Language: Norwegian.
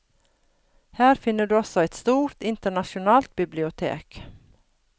Her finner du også et stort, internasjonalt bibliotek.